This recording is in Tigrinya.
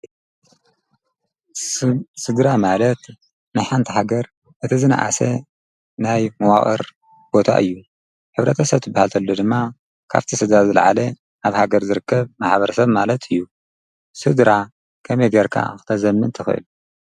ሥድራ ማለት መሓንቲ ሃገር እቲ ዝነኣሰ ናይ መዋቕር ቦታ እዩ ኅብረተሰት ብሃልትሎ ድማ ካብቲ ሥዳ ዝለዓለ ኣብ ሃገር ዝርከብ መሓበረ ሰብ ማለት እዩ ሥድራ ከምይ ገርካ ኣኽተዘምን ተኽእል።